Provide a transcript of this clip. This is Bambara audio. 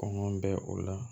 Kɔngɔ bɛ o la